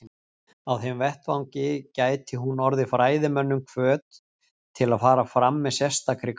Á þeim vettvangi gæti hún orðið fræðimönnum hvöt til að fara fram með sérstakri gát.